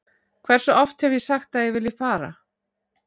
Hversu oft hef ég sagt að ég vilji fara?